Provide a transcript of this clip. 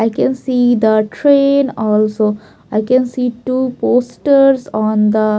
I can see the train also I can see two posters on the --